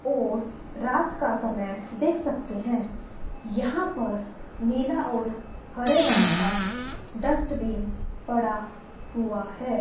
और रात का समय देख सकते हैं यहां पर नीला और हरे रंग का डस्टबिन पड़ा हुआ है।